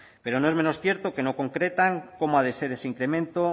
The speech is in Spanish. pero no es menos cierto que no concretan cómo ha de ser ese incremento